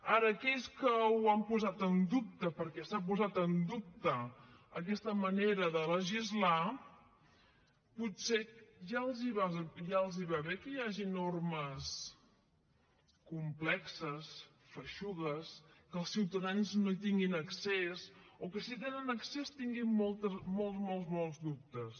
ara a aquells que ho han posat en dubte perquè s’ha posat en dubte aquesta manera de legislar potser ja els va bé que hi hagin normes complexes feixugues que els ciutadans no hi tinguin accés o que si hi tenen accés tinguin molts molts dubtes